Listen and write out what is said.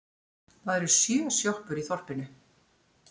Það eru sjö sjoppur í þorpinu!